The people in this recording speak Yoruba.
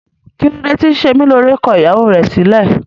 Kilode ti Semilore ko ìyàwó rẹ silẹ?